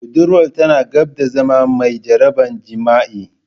Budurwar tana gab da zama mai jaraban jima'i.